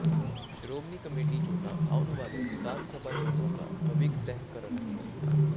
Shiromani committee ਚੋਣਾਂ ਆਉਣ ਵਾਲੀਆਂ ਵਿਧਾਨ ਸਭਾ ਚੋਣਾਂ ਦਾ ਭਵਿੱਖ ਤਹਿ ਕਰਨਗੀਆਂ